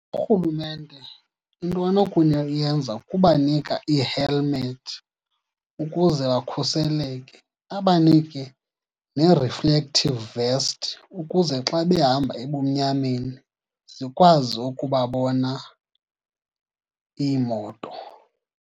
Urhulumente into kubanika ii-helmet ukuze bakhuseleke, abanike nee-reflective vest ukuze xa behamba ebumnyameni zikwazi ukubabona iimoto.